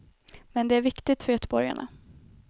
Men det är viktigt för göteborgarna.